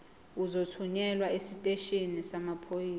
uzothunyelwa esiteshini samaphoyisa